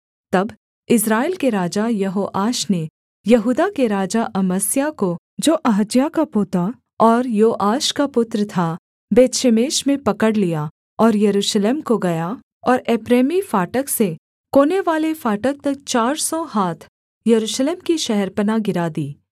तब इस्राएल के राजा यहोआश ने यहूदा के राजा अमस्याह को जो अहज्याह का पोता और योआश का पुत्र था बेतशेमेश में पकड़ लिया और यरूशलेम को गया और एप्रैमी फाटक से कोनेवाले फाटक तक चार सौ हाथ यरूशलेम की शहरपनाह गिरा दी